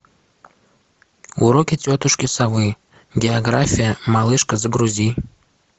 уроки тетушки совы география малышка загрузи